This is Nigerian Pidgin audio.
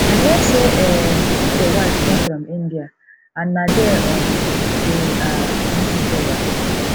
i hear say um uche wife come from india and na there um dey um meet each other